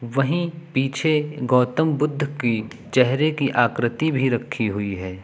वहीं पीछे गौतम बुद्ध की चेहरे की आकृति भी रखी हुई है।